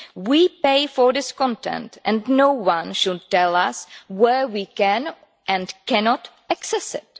We pay for this content and no-one should tell us where we can and cannot access it.